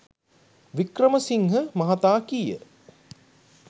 වික්‍රමසිංහ මහතා කීය.